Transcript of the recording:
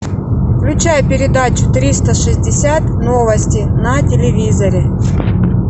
включай передачу триста шестьдесят новости на телевизоре